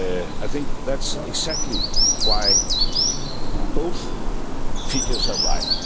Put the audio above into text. I think that's exactly why both figures are right.